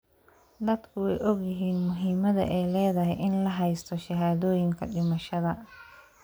Dadku way ogyihiin muhiimadda ay leedahay in la haysto shahaadooyinka dhimashada.